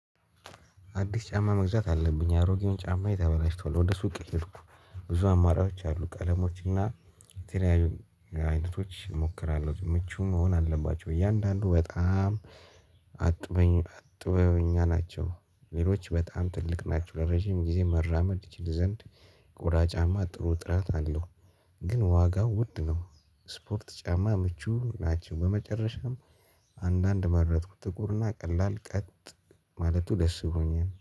አዲስ ጫማ መግዛት አለብኝ አሮጌውን ጫማ ተበላሽቷል ወደ ሱቅ ሄድኩ። ብዙ አማራጮች አሉ ቀለሞች እና ተለያይቶች እሞክራለሁ። ምቹ መሆን አለባቸው እያንዳንዱ በጣም አጥብበኛ ናቸው። ሌሎች በጣም ትልቅ ናቸው ረጅም ጊዜ መራመድ ይችል ዘንድ። ቆዳ ጫማ ጥሩ ጥራት አለው። ግን ዋጋው ውድ ነው። ስፖርት ጫማ ምቹ ናቸው በመጨረሻም አንዳንድ መረጥኩ። ጥቁርና ቀላል ቀጥ ማለቱ ደስ ብሎኛል